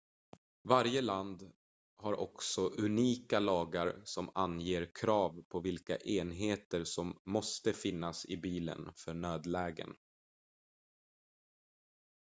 varje land har också unika lagar som anger krav på vilka enheter som måste finnas i bilen för nödlägen